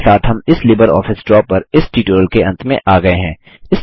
इसी के साथ हम लिबरऑफिस ड्रा पर इस ट्यूटोरियल के अंत में आ गये हैं